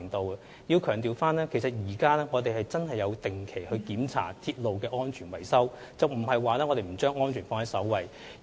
我要強調，我們現時確實有定期檢查鐵路的安全維修，我們並非不把安全放在首位。